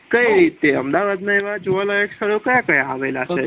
કઈ રીતે અમદાવાદના એવા જોવાલાયક સ્થળો ક્યા ક્યા આવેલા છે